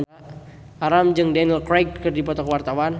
Alam jeung Daniel Craig keur dipoto ku wartawan